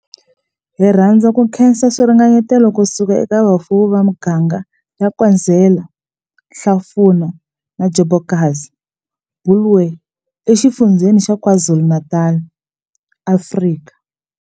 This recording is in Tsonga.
Hi rhandza ku khensa swiringanyeto ku suka eka vafuwi va miganga ya Nkwezela, Hlafuna na Njobokazi Bulwer eXifundzheni xa KwaZulu-Natal, Afrika.